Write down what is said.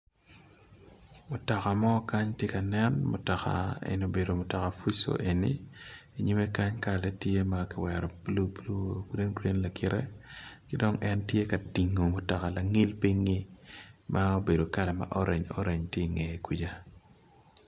Mutoka mo kany tye ka nen mutoka eni obedo mutoka fuso eni inyime kany kalane kiwero blue green green lakite kidong en tye ka tingo mutoka langil pingi ma obedo kala ma orange orange tye inge kuca.